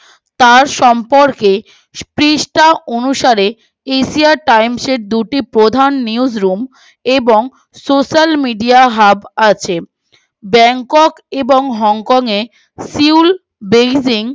পৃষ্টা অনুসারে asia times এর দুটি প্রধান নিয়োদ্রুম এবং সোশ্যাল মিডিয়া হাব আছে bangkok hong kong এ singapore